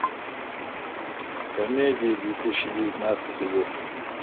комедии две тысячи девятнадцатый год